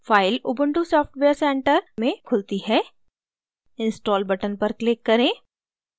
file ubuntu software centre में खुलती है install button पर click करें